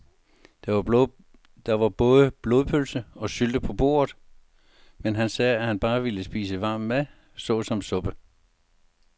Der var både blodpølse og sylte på bordet, men han sagde, at han bare ville spise varm mad såsom suppe.